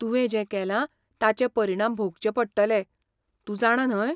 तुवें जें केलां ताचे परिणाम भोगचे पडटले , तूं जाणा न्हय?